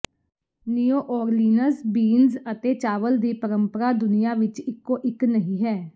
new Orleans beans ਅਤੇ ਚਾਵਲ ਦੀ ਪਰੰਪਰਾ ਦੁਨੀਆ ਵਿਚ ਇਕੋ ਇਕ ਨਹੀਂ ਹੈ